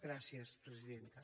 gràcies presidenta